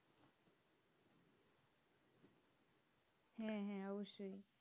হ্যাঁ হ্যাঁ অবশ্যই